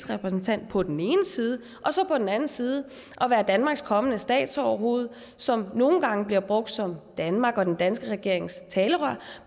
repræsentant på den ene side og så på den anden side være danmarks kommende statsoverhoved som nogle gange bliver brugt som talerør danmark og den danske regering